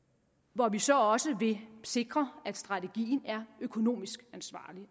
hvor vi så også vil sikre at strategien er økonomisk ansvarlig